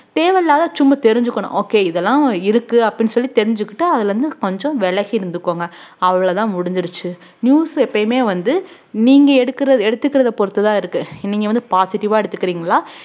தேவையில்லாத சும்மா தெரிஞ்சுக்கணும் okay இதெல்லாம் இருக்கு அப்படின்னு சொல்லி தெரிஞ்சுக்கிட்டு அதுல இருந்து கொஞ்சம் விலகி இருந்துக்கோங்க அவ்வளவுதான் முடிஞ்சிருச்சு news எப்பயுமே வந்து நீங்க எடுக்கிற~ எடுத்துக்கிறத பொறுத்துதான் இருக்கு நீங்க வந்து positive ஆ எடுத்துக்கிறீங்களா